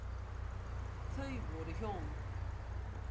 Þau voru hjón.